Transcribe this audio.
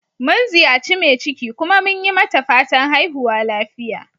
Mun ziyaci mai ciki, kuma mun yi mata fatan"haihuwa lafiya."